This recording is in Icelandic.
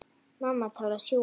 Mamma til að sjúga.